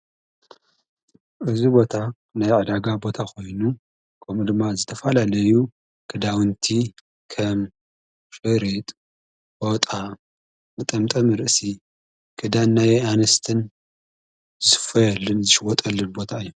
እዝ ቦታ ናይ ዕዳጋ ቦታ ኾይኑ ቆም ድማ ዝተፋላለዩ ክዳውንቲ ከም ሽሬጥ ቦጣ ምጠምጠም ርእሲ ክዳን ናይ ኣንስትን ዝስፈየልን ዝሽወጠልን ቦታ እዩ።